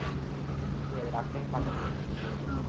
হম ঠিক আছে রাখছি আমি পাঠিয়ে দিচ্ছি এক্ষুনি ছবি গুলো